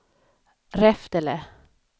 Reftele